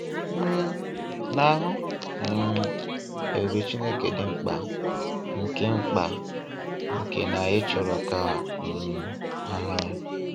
um Ị na-ahụ um ebube Chineke dị mkpa, nke mkpa, nke na anyị chọrọ ka um ha hụ ya.